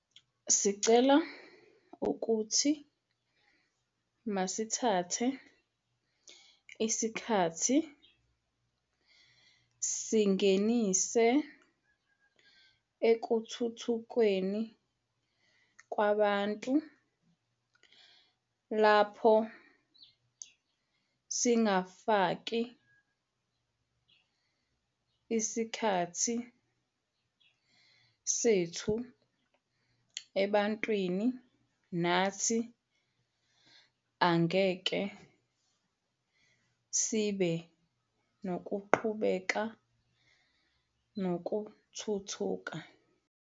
Sicela ukuthi masithathe isikhathi sisingenise ekuthuthukweni kwabantu - lapho singasafaki isikhathi sethu ebantwini nathi asingeke sibe nokuqhubeka nokuthuthuka.